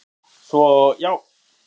Svo, já!